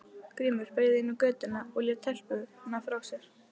Grímur beygði inn í götuna og lét telpuna frá sér.